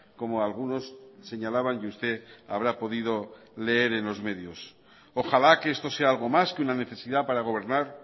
como algunos señalaban y usted habrá podido leer en los medios ojalá que esto sea algo más que una necesidad para gobernar